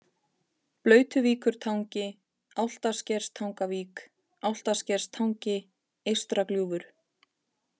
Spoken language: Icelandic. Blautuvíkurtangi, Álftaskerstangavík, Álftaskerstangi, Eystragljúfur